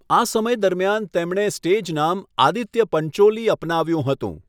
આ સમય દરમિયાન તેમણે સ્ટેજ નામ 'આદિત્ય પંચોલી' અપનાવ્યું હતું.